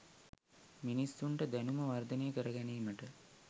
මිනිසුන්ට දැනුම වර්ධනය කර ගැනීමට